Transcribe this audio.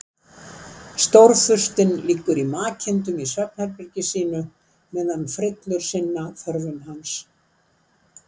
Stórfurstinn liggur í makindum í svefnherbergi sínu meðan frillur sinna þörfum hans.